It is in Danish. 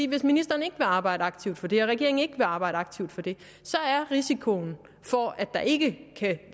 hvis ministeren ikke vil arbejde aktivt for det og regeringen ikke vil arbejde aktivt for det så er risikoen for at der ikke kan